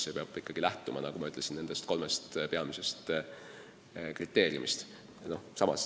See peab ikkagi lähtuma, nagu ma ütlesin, eelnimetatud kolmest peamisest kriteeriumist.